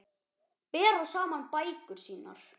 Bera saman bækur sínar.